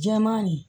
Jɛman nin